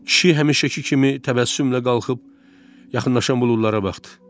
Kişi həmişəki kimi təbəssümlə qalxıb, yaxınlaşan buludlara baxdı.